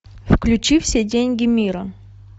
включи все деньги мира